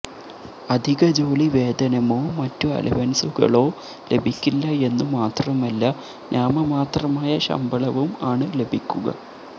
അധികജോലി വേതനമോ മറ്റു അലവൻസുകളോ ലഭിക്കില്ല എന്നുമാത്രമല്ല നാമമാത്രമായ ശമ്പളവും ആണ് ലഭിക്കുക